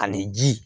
Ani ji